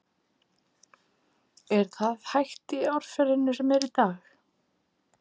Er það hægt í árferðinu sem er í dag?